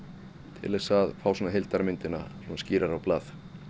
til að fá heildarmyndina skýrar á blað